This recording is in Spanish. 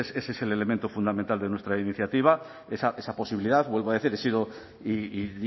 ese es el elemento fundamental de nuestra iniciativa esa posibilidad vuelvo a decir he sido y